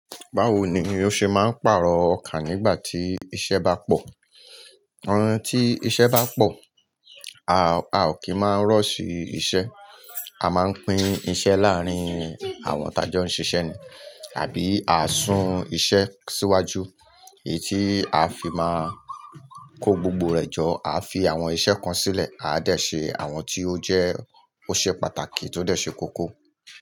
Báwo ni o ṣe máa ń pàrọ̀ ọkà nígbà tí iṣẹ́ bá pọ̀? Tí iṣẹ́ bá pọ̀, a ò kí máa rush iṣẹ́. A máa ń pín iṣẹ́ láàrín àwa taa jọ́ ń ṣiṣẹ́ ni. Àbí a sún iṣẹ́ síwájú, èyí tí a fi máa kó gbogbo rẹ̀ jọ. A fi àwọn iṣẹ́ kan sílẹ̀, a dẹ̀ ṣe àwọn tí ó jẹ́ ó ṣe pàtàkì tó dẹ̀ ṣe kókó.